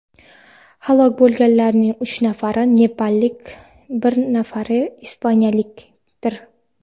Halok bo‘lganlarning uch nafari nepallik, bir nafari ispaniyalikdir.